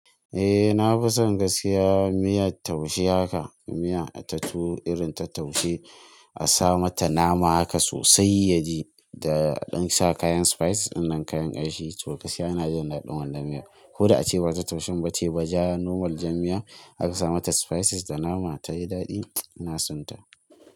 Eh na fi son gaskiya miyar taushe haka, miya ta tuwo irin ta taushe a sa mata nama haka sosai ya ji da an sa kayan spices dinnan kayan kanshi toh gaskiya yana jin daɗin wannan da miya. Ko da ace ba ta taushen ba ce ba ja normal jan miya aka sa mata spices da nama tayi daɗin ina sonta.